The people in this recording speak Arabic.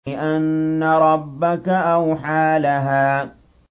بِأَنَّ رَبَّكَ أَوْحَىٰ لَهَا